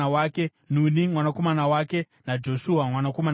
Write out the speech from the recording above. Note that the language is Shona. Nuni mwanakomana wake naJoshua mwanakomana wake.